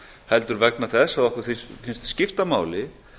heldur vegna þess að okkur finnst skipta máli